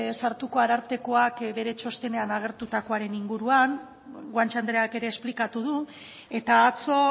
sartuko arartekoak bere txostenean agertutakoaren inguruan guanche andreak ere esplikatu du eta atzo